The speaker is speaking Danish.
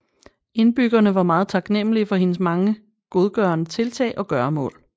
Indbyggerne var meget taknemmelige for hendes mange godgørende tiltag og gøremål